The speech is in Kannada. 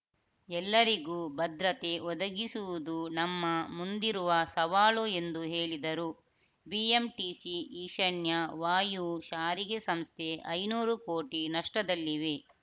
ಎಲ್ಲರಿಗೂ ಭದ್ರತೆ ಒದಗಿಸುವುದು ನಮ್ಮ ಮುಂದಿರುವ ಸವಾಲು ಎಂದು ಹೇಳಿದರು ಬಿಎಂಟಿಸಿ ಈಶನ್ಯ ವಾಯವ್ಯ ಸಾರಿಗೆ ಸಂಸ್ಥೆ ಐನೂರು ಕೋಟಿ ನಷ್ಟದಲ್ಲಿವೆ